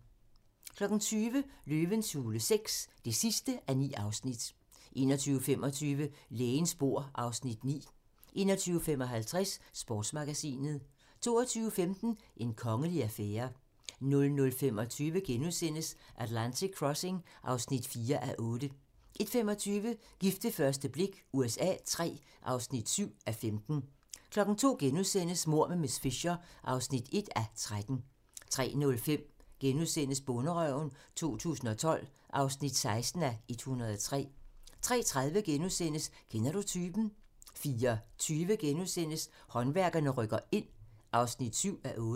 20:00: Løvens hule VI (9:9) 21:25: Lægens bord (Afs. 9) 21:55: Sportsmagasinet 22:15: En kongelig affære 00:25: Atlantic Crossing (4:8)* 01:25: Gift ved første blik USA III (7:15) 02:00: Mord med miss Fisher (1:13)* 03:05: Bonderøven 2012 (16:103)* 03:30: Kender du typen? * 04:20: Håndværkerne rykker ind (7:8)*